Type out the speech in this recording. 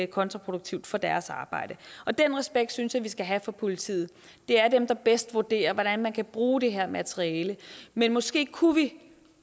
kontraproduktivt for deres arbejde den respekt synes jeg vi skal have for politiet det er dem der bedst vurderer hvordan man kan bruge det her materiale men måske kunne vi